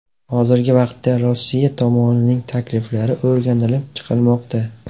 Hozirgi vaqtda Rossiya tomonining takliflari o‘rganib chiqilmoqda.